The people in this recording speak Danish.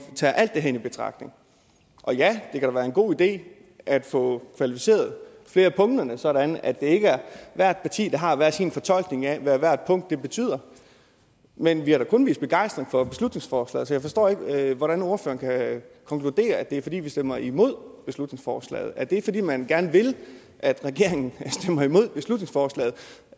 tager alt det her i betragtning og ja det kan da være en god idé at få kvalificeret flere af punkterne sådan at det ikke er hvert parti der har hver sin fortolkning af hvad hvert punkt betyder men vi har da kun vist begejstring for beslutningsforslaget så jeg forstår ikke hvordan ordføreren kan konkludere at det er fordi vi stemmer imod beslutningsforslaget er det fordi man gerne vil at regeringen stemmer imod beslutningsforslaget